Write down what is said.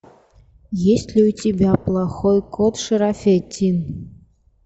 есть ли у тебя плохой кот шерафеттин